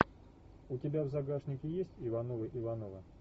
у тебя в загашнике есть ивановы ивановы